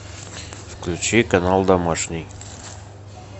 включи канал домашний